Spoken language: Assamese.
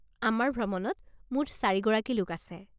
আমাৰ ভ্ৰমণত মুঠ চাৰি গৰাকী লোক আছে।